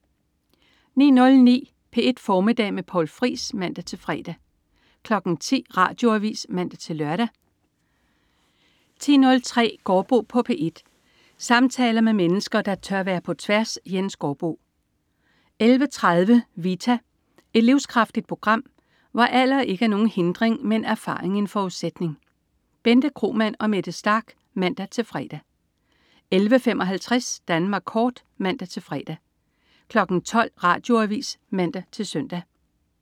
09.09 P1 Formiddag med Poul Friis (man-fre) 10.00 Radioavis (man-lør) 10.03 Gaardbo på P1. Samtaler med mennesker, der tør være på tværs. Jens Gaardbo 11.30 Vita. Et livskraftigt program, hvor alder ikke er nogen hindring, men erfaring en forudsætning. Bente Kromann og Mette Starch (man-fre) 11.55 Danmark kort (man-fre) 12.00 Radioavis (man-søn)